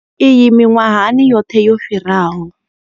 Iyi miṅwahani yoṱhe yo fhiraho.